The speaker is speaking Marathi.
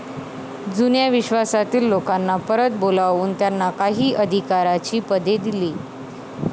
जुन्या विश्वासातील लोकांना परत बोलावून त्यांना काही अधिकाराची पदे दिली.